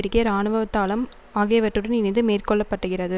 பெருகிய இராணுவதலம் ஆகியவற்றுடன் இணைந்து மேற்கோள்ளப்பட்டுகிறது